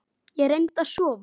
Ég reyndi að sofa.